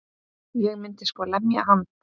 Ég myndi sko lemja hann.